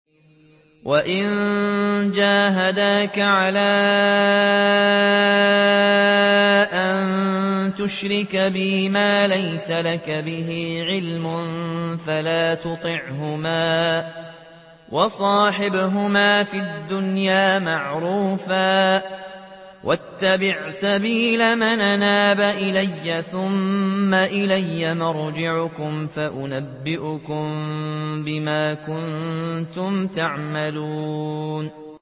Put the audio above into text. وَإِن جَاهَدَاكَ عَلَىٰ أَن تُشْرِكَ بِي مَا لَيْسَ لَكَ بِهِ عِلْمٌ فَلَا تُطِعْهُمَا ۖ وَصَاحِبْهُمَا فِي الدُّنْيَا مَعْرُوفًا ۖ وَاتَّبِعْ سَبِيلَ مَنْ أَنَابَ إِلَيَّ ۚ ثُمَّ إِلَيَّ مَرْجِعُكُمْ فَأُنَبِّئُكُم بِمَا كُنتُمْ تَعْمَلُونَ